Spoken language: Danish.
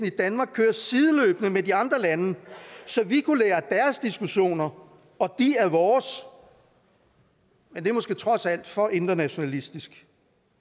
i danmark køre sideløbende med de andre lande så vi kunne lære diskussioner og de af vores men det er måske trods alt for internationalistisk